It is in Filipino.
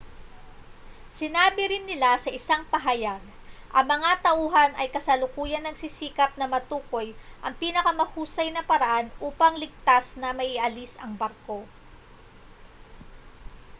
sinabi rin nila sa isang pahayag ang mga tauhan ay kasalukuyang nagsisikap na matukoy ang pinakamahusay na paraan upang ligtas na maialis ang barko